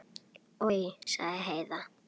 Oj, sagði Heiða.